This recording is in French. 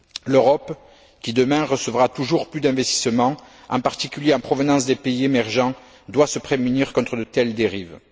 L'Europe qui, demain, recevra toujours plus d'investissements, en particulier en provenance des pays émergents, doit se prémunir contre de telles dérives.